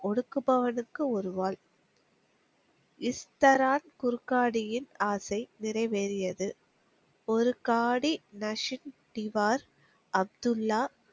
ஒடுக்குபவனுக்கு ஒரு வாள். இஸ்தரார் குருக்காடியின் ஆசை நிறைவேறியது. ஒருக்காடி நஸ்ஸின் திவார் அப்துல்லா